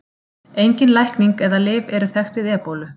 Engin lækning eða lyf eru þekkt við ebólu.